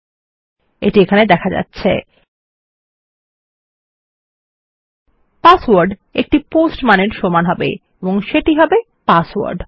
Iএটি এখানে দেখা যাচ্ছে পাসওয়ার্ড সমান হবে একটি পোস্ট মান এবং সেটি হবে পাসওয়ার্ড